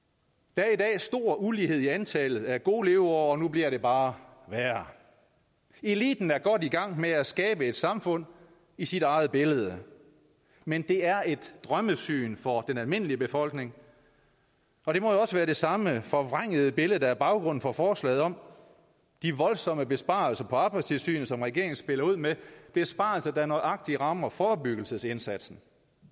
der er i dag stor ulighed i antallet af gode leveår og nu bliver det bare værre eliten er godt i gang med at skabe et samfund i sit eget billede men det er et drømmesyn for den almindelige befolkning og det må jo også være det samme forvrængede billede der er baggrunden for forslaget om de voldsomme besparelser på arbejdstilsynet som regeringen spiller ud med besparelser der nøjagtig rammer forebyggelsesindsatsen